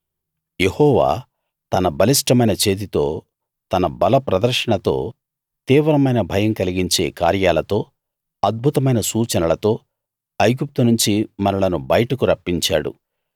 యెహోవా తన బలిష్టమైన చేతితో తన బలప్రదర్శనతో తీవ్రమైన భయం కలిగించే కార్యాలతో అద్భుతమైన సూచనలతో ఐగుప్తు నుంచి మనలను బయటకు రప్పించాడు